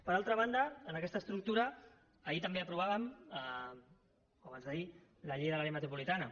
per altra banda en aquesta estructura ahir també aprovàvem o abans d’ahir la llei de l’àrea metropolitana